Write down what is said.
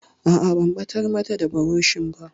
A'a, ban ɓatar mata da burushin ba.